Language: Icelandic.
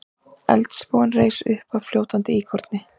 Eldstólpinn reis uppaf fljótandi íkoni.